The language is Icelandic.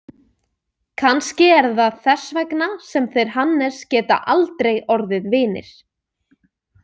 Kannski er það þess vegna sem þeir Hannes geta aldrei orðið vinir.